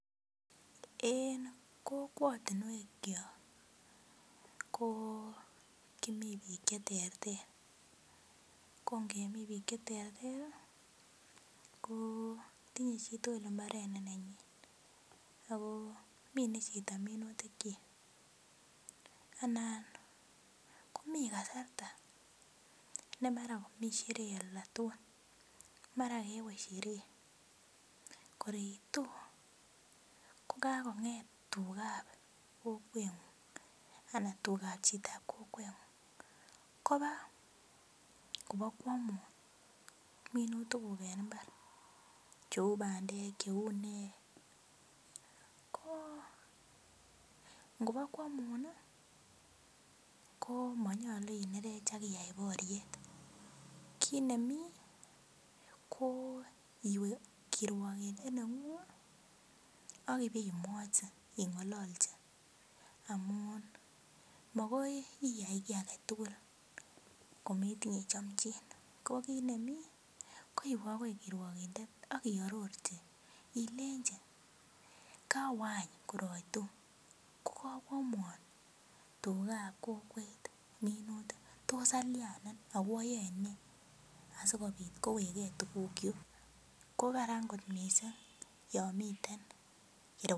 En kokwotinwek kyok ko kimii biik cheterter ko ngemii biik cheterter ih ko tinye chitugul mbaret ne nenyin ako mine chito minutik kyik anan komii kasarta ne mara komii sherehe oldatukul mara kewe sherehe kor iitu ko kakong'et tukab kokwetnyun ana tukab chitab kokwetng'ung koba kobakoamun minutik kuk en mbar cheu bandek cheu nee ko ngobokoamun ih ko monyolu inerech ak iyai boriet. Kit nemii ko iwe kirwokindet neng'ung ak ibemwochi ing'ololnchi makoi iyai kiy aketugul kometinye chomchin ko kit nemii ko iwe akoi kirwokindet ak iarorchi ilenji kowe any tor aitu ko kakoamwon tugab kokwet minutik tos alyanen ako ayoe nee asikobit kowekgee tuguk kyuk ko Karan kot missing yon miten